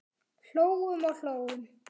Hlógum og hlógum.